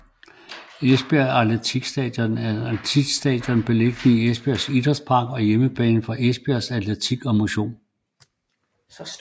Esbjerg Atletikstadion er et atletikstadion beliggende i Esbjerg Idrætspark og hjemmebane for Esbjerg Atletik og Motion